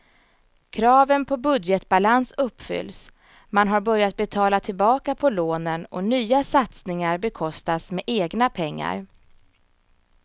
Kraven på budgetbalans uppfylls, man har börjat betala tillbaka på lånen och nya satsningar bekostas med egna pengar.